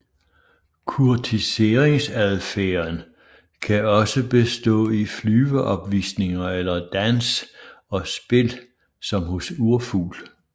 Kurtiseringsadfærden kan også bestå i flyveopvisninger eller dans og spil som hos urfugl